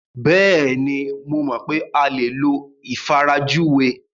Bẹ́ẹ̀ni, mo mọ̀ pé a lè lo ìfarajúwe.